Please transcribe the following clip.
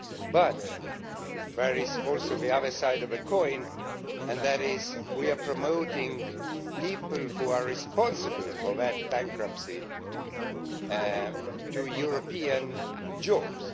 But there is also the other side of the coin, namely that we are promoting people who are responsible for that bankruptcy to European jobs.